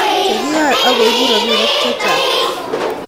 Chekiyae akoibu robinik chechang